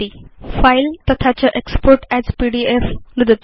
file तथा च export as PDF नुदतु